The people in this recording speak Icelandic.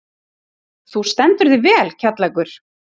Þú stendur þig vel, Kjallakur!